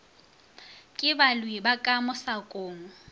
ke balwi ba ka mosakong